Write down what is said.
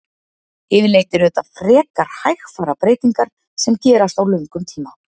Yfirleitt eru þetta frekar hægfara breytingar sem gerast á löngum tíma.